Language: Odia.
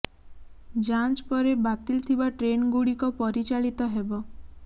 ଯାଞ୍ଚ ପରେ ବାତିଲ ଥିବା ଟ୍ରେନ୍ ଗୁଡ଼ିକ ପରିଚାଳିତ ହେବ